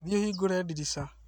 Thi ũhingũre ndirica